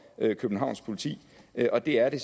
københavns politi og det er det